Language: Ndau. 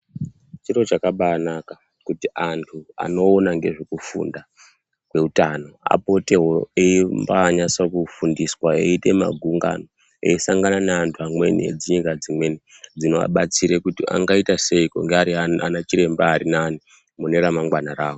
Chiro chakabayi naka kuti andu anoona nezvekufunda kweutano apotewo eyimbayinatsa kufundiswa eyite magungano eyisangana neandu amweni enzinza dzinweni dzinowabatsira kuti angaita sei kuti ange ari ana chiremba ari nani mune ramangwana ravo.